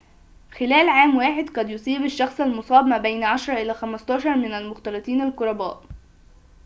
خلال عام واحد قد يصيب الشخص المُصاب ما بين 10 إلى 15 من المختلطين القرباء